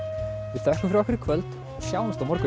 við þökkum fyrir okkur í kvöld og sjáumst á morgun